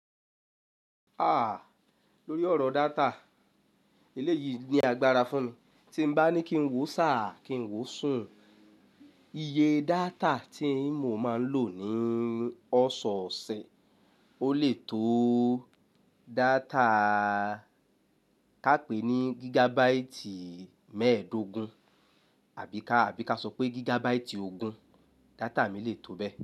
Ah! Lórí ọ̀rọ̀ data, eléyìí ni agbára fún mi. Tí mo bá ní kí n wò sá, kí n wò sùn, iye data tí mo máa ń lò ní ọ̀ṣọ̀ọ̀ṣẹ̀ o lè tó data ká pè ní gigabaati mẹ́ẹ̀ẹ́dógún àbí ká, àbí ká sọ pé gigabaati ogún, data mi le tó bẹ́ẹ̀